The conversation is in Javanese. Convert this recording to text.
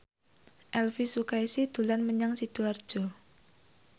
Elvi Sukaesih dolan menyang Sidoarjo